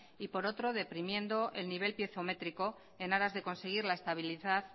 y por otro deprimiendo el nivel piezométrico en aras de conseguir la estabilidad